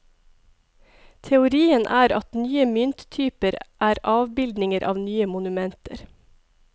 Teorien er at nye mynttyper er avbildninger av nye monumenter.